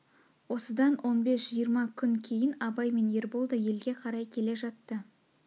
осыдан он бес-жиырма күн кейін абай мен ербол да елге қарай келе жатты